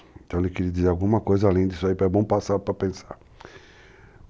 Então ele queria dizer alguma coisa além disso aí, é bom passar para pensar.